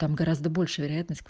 там гораздо больше вероятность